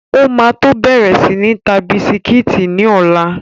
O ma tó bẹ̀rẹ̀ sí ń ta bisikítì ní ọ̀la.